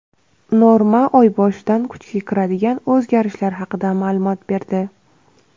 "Norma" oy boshidan kuchga kiradigan o‘zgarishlar haqida ma’lumot berdi.